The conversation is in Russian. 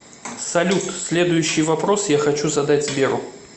салют следующий вопрос я хочу задать сберу